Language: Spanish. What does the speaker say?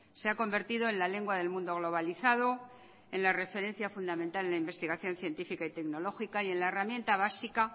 se ha convertido en la lengua del mundo globalizado en la referencia fundamental en la investigación científica y tecnológica y en la herramienta básica